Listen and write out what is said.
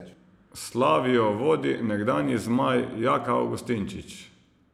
Slavijo vodi nekdanji zmaj Jaka Avgustinčič.